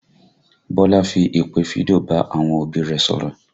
Bọlá fi ìpè fídíò bá àwọn òbí rẹ̀ sọ̀rọ̀